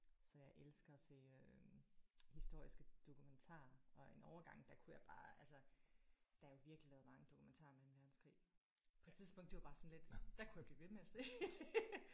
Så jeg elsker at se øh historiske dokumentarer og en overgang der kunne jeg bare altså der er jo virkelig lavet mange dokumentarer om anden verdenskrig på et tidspunkt det var det bare sådan lidt der kunne jeg blive ved med at se det